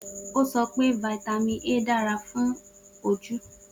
O sọ pe Vitamin A dara fun awọn oju.